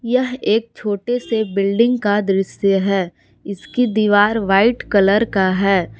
यह एक छोटे से बिल्डिंग का दृश्य है। इसकी दिवार व्हाइट कलर का है।